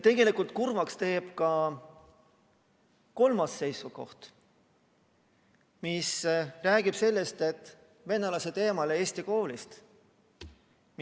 Tegelikult teeb kurvaks ka kolmas seisukoht: hoida venelased eemal Eesti koolist.